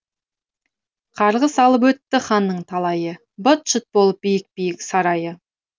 қарғыс алып өтті ханның талайы быт шыт болып биік биік сарайы